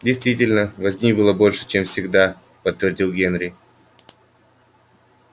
действительно возни было больше чем всегда подтвердил генри